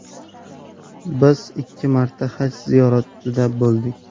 Biz ikki marta Haj ziyoratida bo‘ldik.